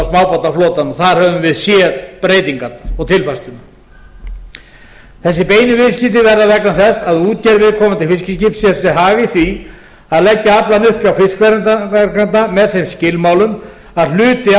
smábátaflotanum þar höfum við séð breytingarnar og tilfærsluna þessi beinu viðskipti verða vegna þess að útgerð viðkomandi fiskiskips sér sér hag í því að leggja aflann upp hjá fiskverkanda með þeim skilmálum að hluti